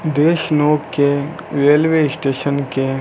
देश नोक के रेलवे स्टेशन के --